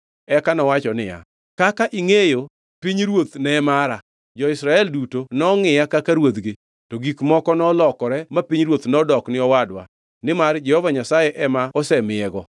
Eka nowacho niya, “Kaka ingʼeyo, pinyruoth ne mara. Jo-Israel duto nongʼiya kaka ruodhgi. To gik moko nolokore ma pinyruoth nodok ni owadwa; nimar Jehova Nyasaye ema osemiyego.